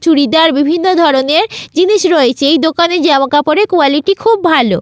চুড়িদার বিভিন্ন ধরণের জিনিস রয়েছে। এই দোকানের জামাকাপড়ের কোয়ালিটি খুব ভাল।